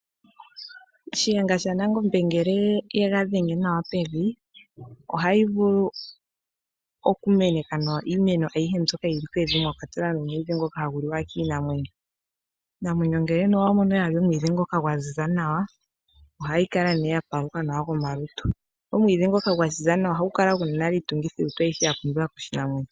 Shiyenga shaNangombe ngele ega dhenga nawa pevi , iimeno aihe ohayi mene nawa mbyoka yokelundu mwakwatelwa omwiidhi ngoka hagu liwa kiinamwenyo. Iinamwenyo ngele wamono yali omwiidhi ngoka gwaziza nawa, ohayi kala yapama nawa komalutu. Omwiidhi ngoka gwaziza nawa ohayi kala yina iitungithilutu mbyoka yapumbiwa kiinamwenyo.